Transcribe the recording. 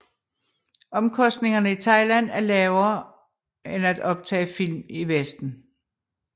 Omkostningerne i Thailand er lavere end at optage film i Vesten